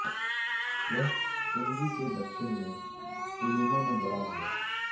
वह पूंजी के दक्षिण में तुलुमा में बड़ा हुआ